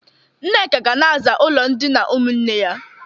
Nneka ga na-aza ụlọ ndịna ụmụnne ya.